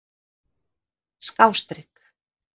skástrik